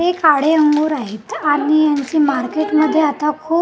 हे काळे अंगूर आहेत आणि यांची मार्केटमध्ये आता खूप--